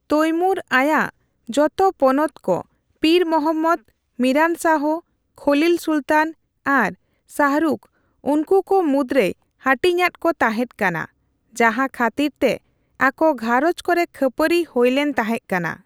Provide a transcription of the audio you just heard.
ᱛᱚᱭᱢᱩᱨ ᱟᱭᱟᱜ ᱡᱚᱛᱚ ᱯᱚᱱᱚᱛ ᱠᱚ ᱯᱤᱨ ᱢᱚᱦᱚᱢᱢᱚᱫᱽ, ᱢᱤᱨᱟᱱ ᱥᱟᱦᱚ, ᱠᱷᱚᱞᱤᱞ ᱥᱩᱞᱛᱟᱱ ᱟᱨ ᱥᱟᱦᱨᱩᱠᱷ ᱩᱱᱠᱩᱠᱚ ᱢᱩᱫ ᱨᱮᱭ ᱦᱟᱴᱤᱧ ᱟᱫ ᱠᱚ ᱛᱟᱦᱮᱫ ᱠᱟᱱᱟ, ᱡᱟᱸᱦᱟ ᱠᱷᱟᱛᱤᱨ ᱛᱮ ᱟᱠᱚᱼᱜᱷᱟᱸᱨᱚᱡᱽ ᱠᱚᱨᱮ ᱠᱷᱟᱹᱯᱟᱹᱨᱤ ᱦᱳᱭ ᱞᱮᱱ ᱛᱟᱦᱮᱫ ᱠᱟᱱᱟ ᱾